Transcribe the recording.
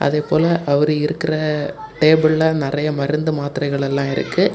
அதேபோல அவர் இருக்குற டேபிள்ல நெறைய மருந்து மாத்திரைகள் எல்லாம் இருக்கு.